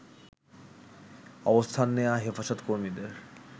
অবস্থান নেয়া হেফাজতকর্মীদের